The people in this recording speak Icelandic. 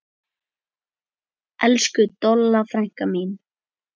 Elsku Dolla frænka mín.